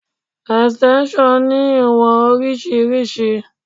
Extension ní ìwọ̀n oríṣiríṣi.